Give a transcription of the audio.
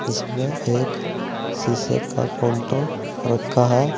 इसमें एक शीशे का काउंटर रखा है।